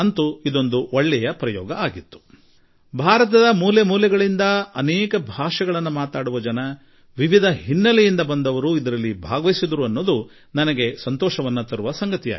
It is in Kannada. ಆದರೆ ಇದೊಂದು ಉತ್ತಮ ಪ್ರಯೋಗವಾಗಿತ್ತು ಎಂದಷ್ಟೆ ನಾನು ಖಂಡಿತ ಹೇಳಬಯಸುತ್ತೇನೆ ಹಾಗೂ ಭಾರತದ ಎಲ್ಲಾ ಭಾಷೆಗಳನ್ನು ಮಾತನಾಡುವ ಮೂಲೆ ಮೂಲೆಯಲ್ಲಿ ವಾಸಿಸುವ ಪ್ರತಿಯೊಂದು ರೀತಿಯ ಹಿನ್ನೆಲೆ ಹೊಂದಿರುವವರು ಇದರಲ್ಲಿ ಪಾಲ್ಗೊಂಡರು ಎಂಬುದು ನನ್ನ ಪಾಲಿಗೆ ಹರ್ಷದ ಸಂಗತಿ